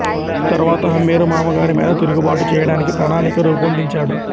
తరువాత హమ్మీరు మామగారి మీద తిరుగుబాటు చేయడానికి ప్రణాళిక రూపొందించాడు